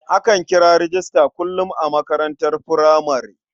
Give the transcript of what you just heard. Akan kira rejista kullum a makarantar furamare.